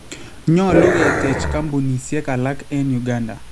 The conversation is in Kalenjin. Nyolu keteech koombunisiek alak en Uganda